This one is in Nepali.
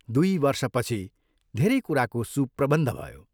दुइ वर्षपछि धेरै कुराको सुप्रबन्ध भयो।